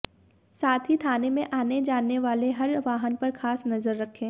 साथ ही थाने में आने जाने वाले हर वाहन पर खास नजर रखें